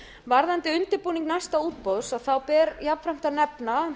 varðandi undirbúning næsta útboðs ber jafnframt að nefna